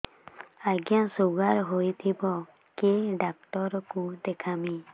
ଆଜ୍ଞା ଶୁଗାର ହେଇଥିବ କେ ଡାକ୍ତର କୁ ଦେଖାମି